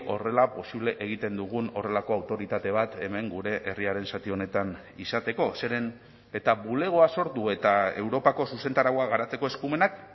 horrela posible egiten dugun horrelako autoritate bat hemen gure herriaren zati honetan izateko zeren eta bulegoa sortu eta europako zuzentarauak garatzeko eskumenak